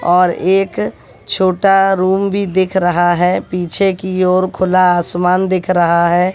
और एक छोटा रूम भी दिख रहा है पीछे की ओर खुला आसमान दिख रहा है।